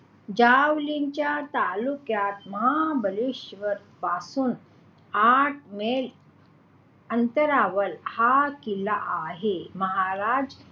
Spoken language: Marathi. जावळीच्या तालुक्यात महाबलेश्वर पासून आठ मैल अंतरावर हा किल्ला आहे. महाराज,